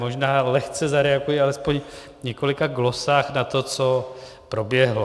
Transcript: Možná lehce zareaguji alespoň v několika glosách na to, co proběhlo.